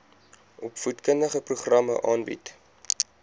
opvoedkundige programme aanbied